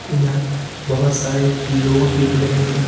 यह बहुत सारे लोग दिख रहे हैं।